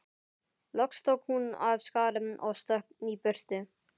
Loks tók hún af skarið og stökk í burtu.